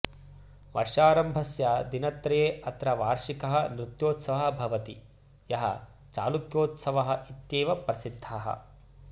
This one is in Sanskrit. वर्षारम्भस्य दिनत्रये अत्र वार्षिकः नृत्योत्सवः भवति यः चालुक्योत्सवः इत्येव प्रसिद्धः